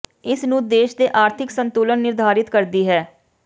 ਇਸ ਨੂੰ ਦੇਸ਼ ਦੇ ਆਰਥਿਕ ਸੰਤੁਲਨ ਨਿਰਧਾਰਿਤ ਕਰਦੀ ਹੈ